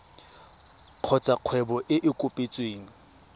kgotsa kgwebo e e kopetsweng